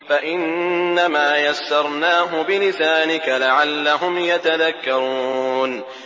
فَإِنَّمَا يَسَّرْنَاهُ بِلِسَانِكَ لَعَلَّهُمْ يَتَذَكَّرُونَ